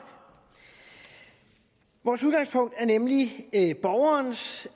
vores udgangspunkt er nemlig borgerens